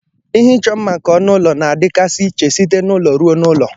Ihe ịchọ mma nke ọnụ ụlọ na-adịkasị iche site n'ụlọ ruo n'ụlọ.